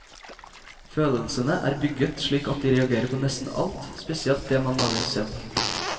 Følelsene er bygget slik at de reagerer på nesten alt, spesielt det man lager selv.